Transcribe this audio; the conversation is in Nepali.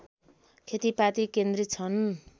खेतीपाती केन्द्रित छन्